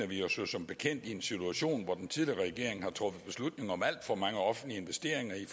vi jo som bekendt i en situation hvor den tidligere regering har truffet beslutninger om alt for mange offentlige investeringer i